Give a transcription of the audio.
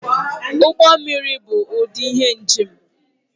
Ụgbọ mmiri bụ ụdị ihe njem